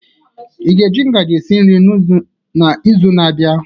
Ị ga-eji ngaji esi nri n'izu na-abịa?